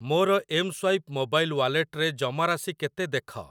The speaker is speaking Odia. ମୋର ଏମ୍‌ସ୍ୱାଇପ୍‌ ମୋବାଇଲ ୱାଲେଟରେ ଜମା ରାଶି କେତେ ଦେଖ।